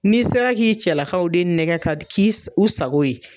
Ni sera k'i cɛlakaw de nɛgɛ ka k'i u sago ye